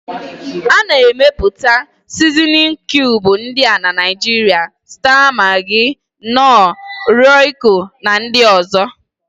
A na-emepụta Sizinin kiubu ndị a na Naịjiria: staa magị, nọọ, rọiko na ndị ọ̀zọ́.